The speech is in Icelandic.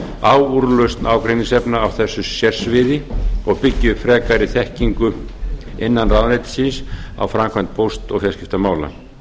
á úrlausn ágreiningsefna á þessu sérsviði og byggi upp frekari þekkingu innan ráðuneytisins á framkvæmd póst og fjarskiptamála